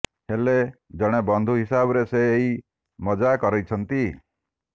ହେଲେ ଜଣେ ବନ୍ଧୁ ହିସାବରେ ସେ ଏହି ମଜା କରିଛନ୍ତି